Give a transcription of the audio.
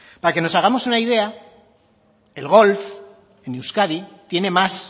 para que nos hagamos una idea el golf en euskadi tiene más